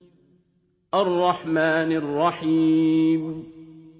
الرَّحْمَٰنِ الرَّحِيمِ